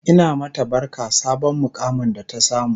Ina mata barka sabon muƙamin da ta samu